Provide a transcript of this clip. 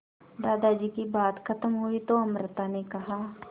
दादाजी की बात खत्म हुई तो अमृता ने कहा